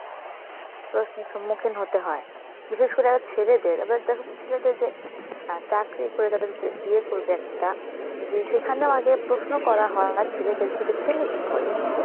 প্রশ্নের সম্মুখীন হতে হয়, বিশেষ করে ছেলেদের, এবার দেখো~ উম ছেলেদের যে অ্যাঁ চাকরি করে তারপরে বিয়ে করবে একটা, যে সেখানেও আগে প্রশ্ন করা হয় ছেলেদেরকে যে ছেলে কি করে?